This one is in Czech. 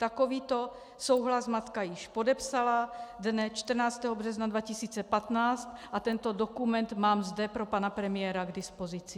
Takovýto souhlas matka již podepsala dne 14. března 2015 a tento dokument mám zde pro pana premiéra k dispozici.